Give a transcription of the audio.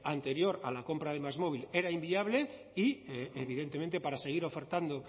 anterior a la compra de másmóvil era inviable y evidentemente para seguir ofertando